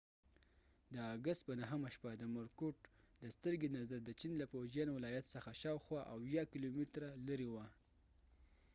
د اګست په 9 همه شپه د مورکوټ د سترګې نظر د چین له فوجیان ولایت څخه شاوخوا اويه کیلومتره لرې وه